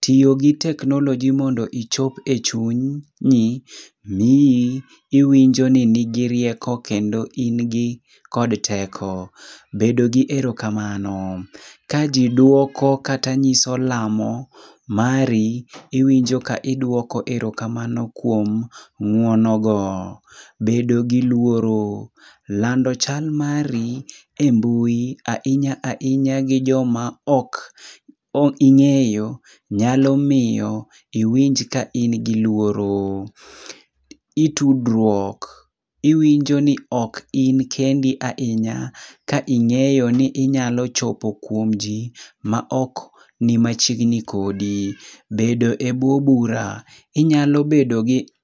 tiyo gi technology mondo ichop e chuny nyi, miyi iwinjo ni nigi rieko kendo in gi kod teko. Bedo gi erokamano, ka jiduoko kata nyiso lamo mari, iwinjo ka iduoko erokamano kuom ng'uono go. Bedo gi luoro, lando chal mari e mbui ainya ainya gi joma ok ing'eyo nyalo miyo iwinj ka in gi luoro. Itudruok, iwinjo ni ok in kendi ainya ka ing'eyo ni inyalo chopo kuom ji ma ok ni machiegni kodi. Bedo e bwo bura, inyalo bedo gi